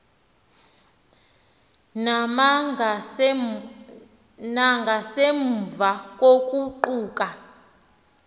na nangasemva kokuguquka